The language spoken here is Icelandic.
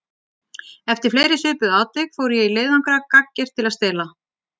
Eftir fleiri svipuð atvik fór ég í leiðangra gagngert til að stela.